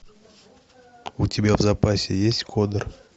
у тебя в запасе есть кодер